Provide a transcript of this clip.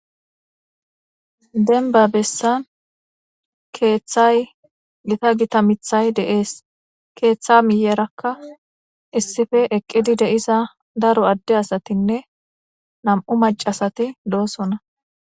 Dembba bessan keththay giita giitta miththay de'es keththa miyyerakka issippe eqqidi deizza daaro adde asatine nam'u maccasati dossona.